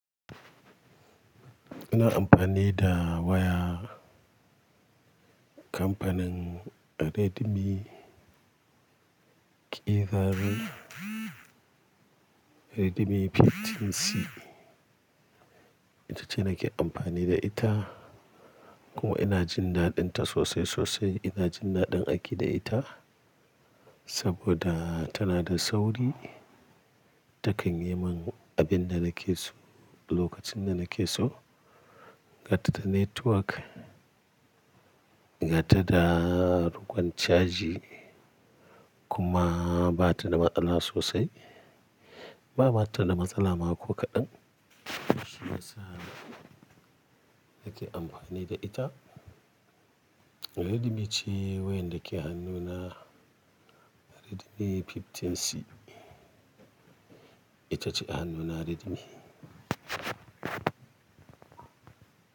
Ina amfani da waya kamfanin Redmi kirar Redmi 15C. Ita ce nake amfani da ita kuma ina jin daɗinta sosai sosai. Ina jin daɗin aiki da ita saboda tana da sauri. Takanyi mun abin da nake so lokacin da nake so. Ga ta da network, ga ta da rukun caji kuma ba ta da matsala sosai. Ba mata da matsala ma ko kaɗan. Shi ya sa nake amfani da ita. Redmi ce wayar da ke hannuna Redmi 15C. Ita ce a hannuna Redmi.